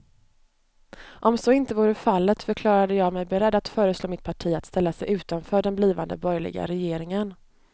Om så inte vore fallet förklarade jag mig beredd att föreslå mitt parti att ställa sig utanför den blivande borgerliga regeringen.